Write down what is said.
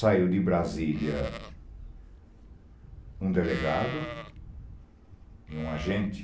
Saiu de Brasília um delegado e um agente.